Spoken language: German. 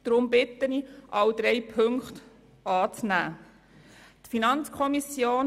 Deshalb bitte ich Sie, alle drei Ziffern anzunehmen.